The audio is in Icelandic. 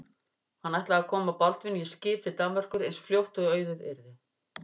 Hann ætlaði að koma Baldvini í skip til Danmerkur eins fljótt og auðið yrði.